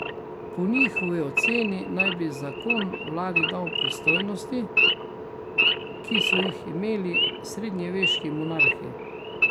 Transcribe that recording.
Po njihovi oceni naj bi zakon vladi dal pristojnosti, ki so jih imeli srednjeveški monarhi.